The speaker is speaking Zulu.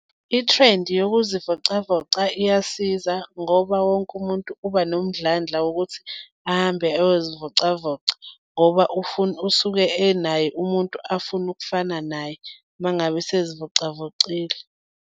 I-trend-i yokuzivocavoca iyasiza ngoba wonke umuntu uba nomdlandla wokuthi ahambe ayozivocavoca ngoba ufuna, usuke enaye umuntu afuna ukufana naye uma ngabe sezivocavocile.